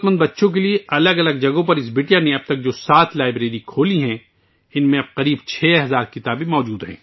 اس لڑکی نے اب تک ضرورت مند بچوں کے لیے مختلف مقامات پر جو سات لائبریریاں کھولی ہیں ان میں اب تقریباً 6 ہزار کتابیں دستیاب ہیں